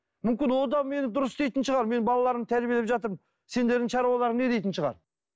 мүмкін ол да мені дұрыс дейтін шығар мен балаларымды тәрбиелеп жатырмын сендердің шаруаларың не дейтін шығар